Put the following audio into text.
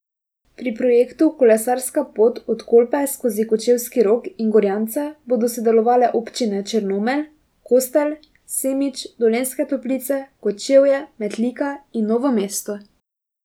Pri projektu Kolesarska pot od Kolpe skozi Kočevski rog in Gorjance bodo sodelovale občine Črnomelj, Kostel, Semič, Dolenjske Toplice, Kočevje, Metlika in Novo mesto.